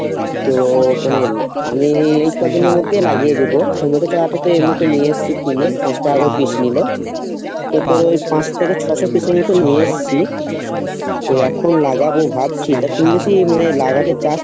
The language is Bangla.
তো মানে আমি এই কদিনের মধ্যে লাগিয়ে দিবো টমেটো চারা তো নিয়ে এসছি কিনে পাঁচ টাকা করে piece নিলো তো তোর ওই পাঁচ থেকে ছশো piece এর মতো নিয়ে এসছি তো এখন লাগাবো ভাবছি তা তুই যদি মানে লাগাতে চাস